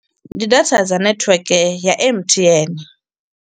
Ndi data dza nethiweke ya M_T_N.